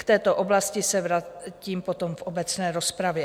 K této oblasti se vrátím potom v obecné rozpravě.